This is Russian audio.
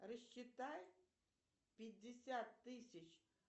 рассчитай пятьдесят тысяч